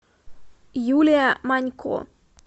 юлия манько